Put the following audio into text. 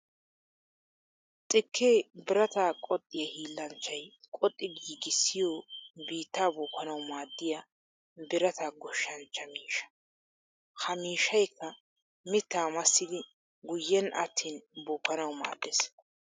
Xikke birata qoxiya hiillanchchay qoxxi giigissiyo biitta bookkanawu maadiya birata gooshshanchcha miishsha. Ha miishshaykka mitta massiddi guyen aatin bookkanawu maadees.